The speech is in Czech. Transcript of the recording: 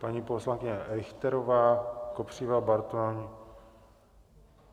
Paní poslankyně Richterová, Kopřiva, Bartoň.